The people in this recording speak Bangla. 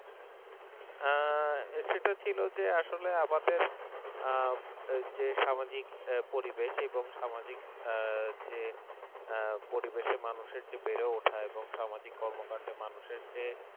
সেটা ছিল যে আসলে আমাদের যে সামাজিক পরিবেশ এবং সামাজিক যে পরিবেশে মানুষের যে বেড়ে ওঠা এবং মানুষের সামাজিক কর্মকাণ্ডে মানুষের